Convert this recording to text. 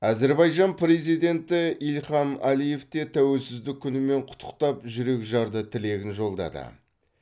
әзербайжан президенті ильхам әлиев те тәуелсіздік күнімен құттықтап жүрекжарды тілегін жолдады